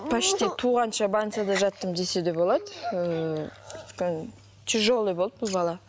почти туғанша больницада жаттым десе де болады ыыы өйткені тяжелый болды бұл бала